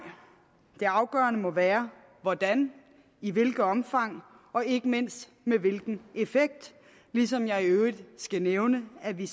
det afgørende må være hvordan i hvilket omfang og ikke mindst med hvilken effekt ligesom jeg i øvrigt skal nævne at vi